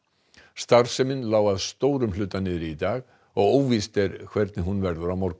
starfsemin lá að stórum hluta niðri í dag og óvíst er hvernig hún verður á morgun